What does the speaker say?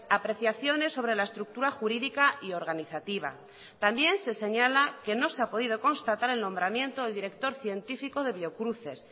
apreciaciones sobre la estructura jurídica y organizativa también se señala que no se ha podido constatar el nombramiento del director científico de biocruces